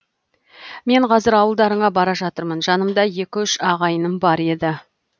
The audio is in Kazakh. мен қазір ауылдарыңа бара жатырмын жанымда екі үш ағайыным бар еді